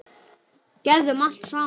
Gerðum allt saman.